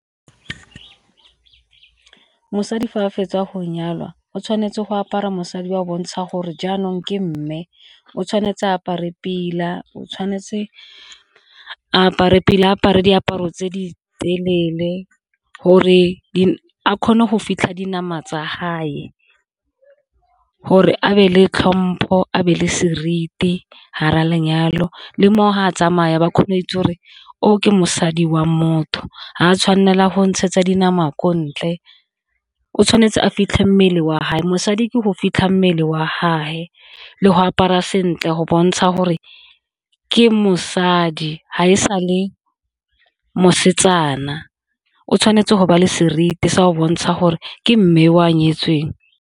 Mosadi fa a fetsa go nyalwa o tshwanetse go apara mosadi o bontsha gore jaanong ke mme, o tshwanetse apare pila, o tshwanetse apare pila apare diaparo tse di telele gore a kgone go fitlha dinama tsa gore abe le tlhompho abe le seriti ga ra lenyalo, le mo fa a tsamaya ba kgone go itse gore o ke mosadi wa motho ga a tshwanela go ntshetsa dinama ko ntle, o tshwanetse a fitlhe mmele wa mosadi ke go fitlha mmele wa le go apara sentle go bontsha gore ke mosadi ga e sa le mosetsana, o tshwanetse go ba le seriti sa go bontsha gore ke mme o nyetsweng.